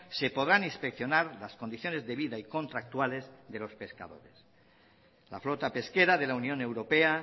se podrán inspeccionar las condiciones de vida y contractuales de los pescadores la flota pesquera de la unión europea